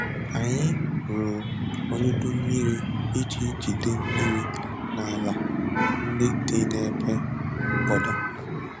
Anyị rụrụ olulu mmiri iji jide mmiri n’ala ndị dị n’ebe mkpọda.